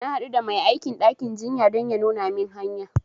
Na haɗu da mai aikin ɗakin jinya don ya nuna min hanya